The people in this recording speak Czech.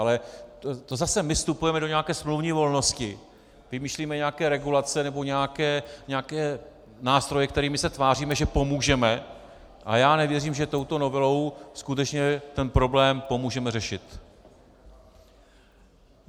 Ale to zase my vstupujeme do nějaké smluvní volnosti, vymýšlíme nějaké regulace nebo nějaké nástroje, kterými se tváříme, že pomůžeme, ale já nevěřím, že touto novelou skutečně ten problém pomůžeme řešit.